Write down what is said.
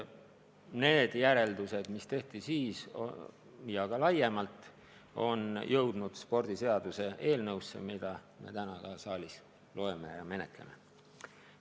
Need järeldused, mis tehti siis ja ka laiemalt, on jõudnud spordiseaduse eelnõusse, mida me täna siin saalis menetleme.